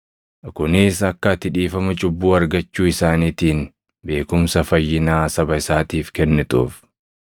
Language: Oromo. kunis akka ati dhiifama cubbuu argachuu isaaniitiin beekumsa fayyinaa saba isaatiif kennituuf;